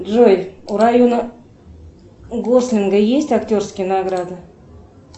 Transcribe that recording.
джой у райана гослинга есть актерские награды